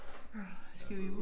Skal vi